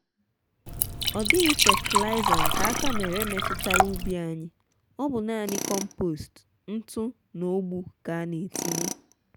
ọ dịghị fatịlaịza nke àka mere metụrụ ubi anyị ọbu naanị compost ntụ na ogbu ka ana etinye.